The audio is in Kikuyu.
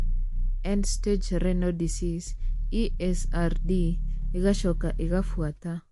End stage renal disease (ESRD) igacoka igabuata.